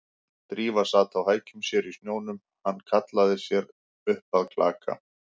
Drífa sat á hækjum sér í snjónum, hann hallaði sér upp að klaka